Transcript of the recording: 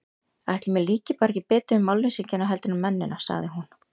Ætli mér líki bara ekki betur við málleysingjana heldur en mennina, sagði hún.